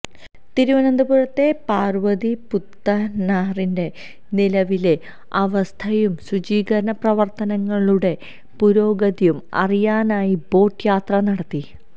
തിരുവനന്തപുരത്തെ പാര്വതിപുത്തനാറിന്റെ നിലവിലെ അവസ്ഥയും ശുചീകരണ പ്രവര്ത്തനങ്ങളുടെ പുരോഗതിയും അറിയാനായി ബോട്ട് യാത്ര നടത്തി